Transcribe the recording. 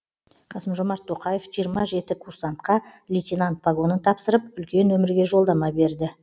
қасым жомарт тоқаев жиырма жеті курсантқа лейтенант погонын тапсырып үлкен өмірге жолдама берді